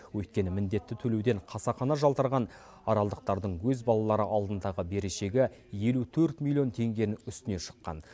өйткені міндетті төлеуден қасақана жалтырған аралдықтардың өз балалары алдындағы берешегі елу төрт миллион теңгенің үстіне шыққан